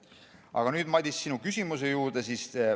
Aga nüüd, Madis, sinu küsimuse juurde.